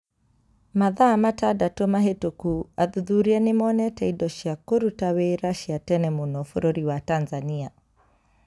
Mathaa matandatũ mahĩtũku athuthuria nĩ monete indo cia kũruta wĩra cia tene mũno bũrũri wa Tanzania.